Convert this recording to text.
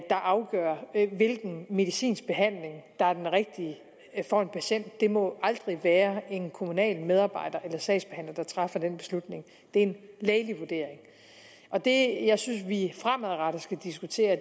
afgør hvilken medicinsk behandling der er den rigtige for en patient det må aldrig være en kommunal medarbejder eller sagsbehandler der træffer den beslutning det er en lægelig vurdering det jeg synes vi fremadrettet skal diskutere